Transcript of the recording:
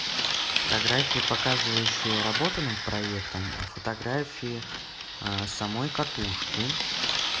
фотографии показывающие работу над проектом фотографии а самой катушки